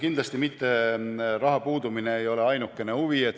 Kindlasti mitte raha puudumine ei ole ainukene huvi.